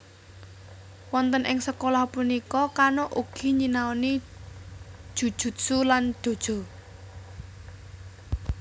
Wonten ing sekolah punika Kano ugi nyinaoni Jujutsu lan Dojo